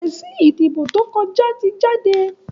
èsì ìdìbò tó kọja tí jáde